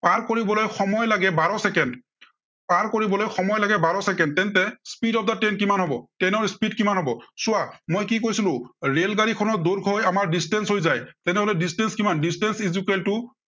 পাৰ কৰিবলৈ সময় লাগে বাৰ চেকেণ্ড। পাৰ কৰিবলৈ সময় লাগে বাৰ চেকেণ্ড তেন্তে speed of the train কিমান হ'ব। train ৰ speed কিমান হব। চোৱা মই কি কৈছিলো এৰ rail গাড়ীখনৰ দৈৰ্ঘ্য়ই আমাৰ distance হৈ যায়। তেনেহলে distance কিমান? distance equal to